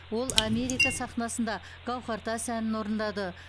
ол америка сахнасында гауһартас әнін орындады